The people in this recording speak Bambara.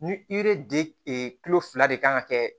Ni de e kulo fila de kan ka kɛ